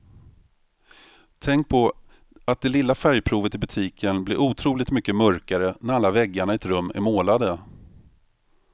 Tänk på att det lilla färgprovet i butiken blir otroligt mycket mörkare när alla väggarna i ett rum är målade.